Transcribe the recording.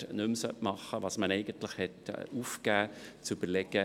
Die Ausnahmen gemäss GSchV Art. 41a, Abs. 5, Bst c. des Bundes sind zu berücksichtigen.